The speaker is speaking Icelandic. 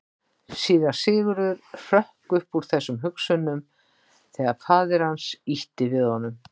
Síra Sigurður hrökk upp úr þessum hugsunum þegar að faðir hans ýtti við honum.